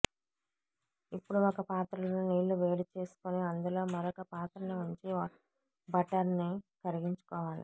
ఇప్పుడు ఒక పాత్రలో నీళ్లు వేడిచేసుకుని అందులో మరొక పాత్రని ఉంచి బటర్ని కరిగించుకోవాలి